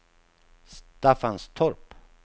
Staffanstorp